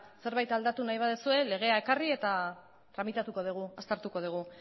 zerbait aldatu nahi baldin baduzue legea ekarri eta tramitatuko dugu aztertuko dugu